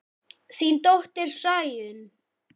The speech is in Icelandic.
Þín dóttir, Sæunn.